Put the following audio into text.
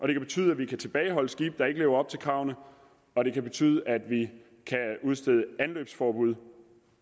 det kan betyde at vi kan tilbageholde skibe der ikke lever op til kravene og det kan betyde at vi kan udstede anløbsforbud